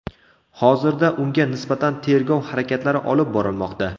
Hozirda unga nisbatan tergov harakatlari olib borilmoqda.